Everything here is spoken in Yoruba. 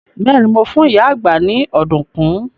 Bẹ́ẹ̀ni, mo fún ìyá àgbá ni ọ̀dùnkún.